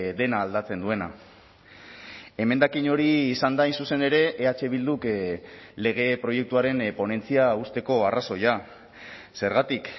dena aldatzen duena emendakin hori izan da hain zuzen ere eh bilduk lege proiektuaren ponentzia uzteko arrazoia zergatik